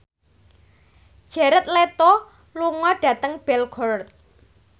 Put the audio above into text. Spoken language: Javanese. Jared Leto lunga dhateng Belgorod